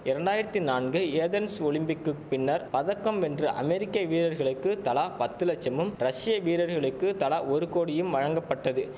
இரண்டாயிரத்தி நாலு ஏதென்ஸ் ஒலிம்பிக்குப் பின்னர் பதக்கம் வென்ற அமெரிக்க வீரர்களுக்கு தலா பத்து லட்சமும் ரஷிய வீரர்களுக்கு தலா ஒரு கோடியும் வழங்கப்பட்டது